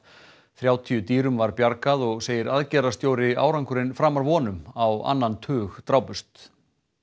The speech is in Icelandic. þrjátíu dýrum var bjargað og segir árangurinn framar vonum á annan tug drápust